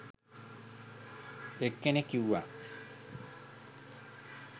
එක්කෙනෙක් කිව්වා